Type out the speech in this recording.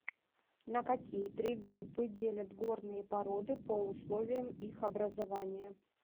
на какие три группы делят горные породы по условиям их образования